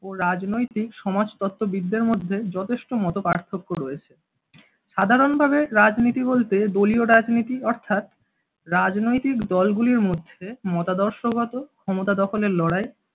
ও রাজনৈতিক সমাজতত্ত্ববিদদের মধ্যে যথেষ্ট মতপার্থক্য রয়েছে। সাধারণভাবে রাজনীতি বলতে দলীয় রাজনীতি অর্থাৎ রাজনৈতিক দলগুলির মধ্যে মতাদর্শগত ও ক্ষমতা দখলের লড়াই।